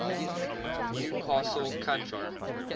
new castle county